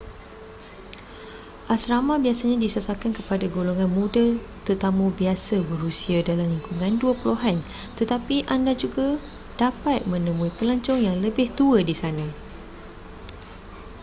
asrama biasanya disasarkan kepada golongan muda-tetamu biasa berusia dalam lingkungan dua puluhan-tetapi anda juga dapat menemui pelancong yang lebih tua di sana